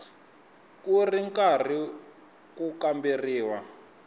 ku ri karhi ku kamberiwa